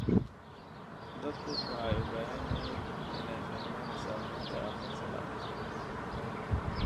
Dadku waxay u baahan yihiin inay fahmaan saamaynta aqoonsi la'aanta.